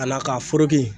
Ala k'a